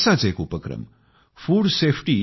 असाच एक उपक्रम f